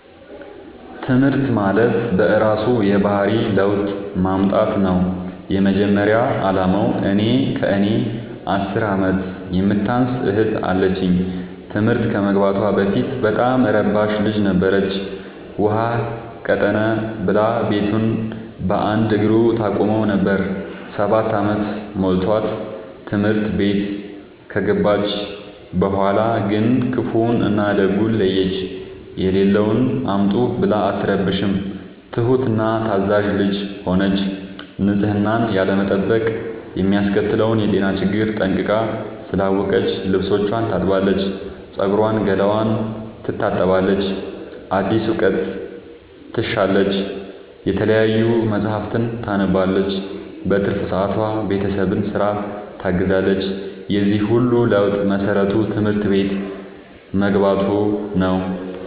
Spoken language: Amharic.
ትምህርት ማለት በእራሱ የባህሪ ለውጥ ማምጣት ነው የመጀመሪያ አላማው። እኔ ከእኔ አስር አመት የምታንስ እህት አለችኝ ትምህርት ከመግባቷ በፊት በጣም እረባሽ ልጅ ነበረች። ውሃ ቀጠነ ብላ ቤቱን በአንድ እግሩ ታቆመው ነበር። ሰባት አመት ሞልቶት ትምህርት ቤት ከገባች በኋላ ግን ክፋውን እና ደጉን ለየች። የሌለውን አምጡ ብላ አትረብሽም ትሁት እና ታዛዣ ልጅ ሆነች ንፅህናን ያለመጠበቅ የሚያስከትለውን የጤና ችግር ጠንቅቃ ስላወቀች ልብስቿን ታጥባለች ፀጉሯን ገላዋን ትታጠባለች አዲስ እውቀት ትሻለች የተለያዩ መፀሀፍትን ታነባለች በትርፍ ሰዓቷ ቤተሰብን ስራ ታግዛለች የዚህ ሁሉ ለውጥ መሰረቱ ትምህርት ቤት መግባቶ ነው።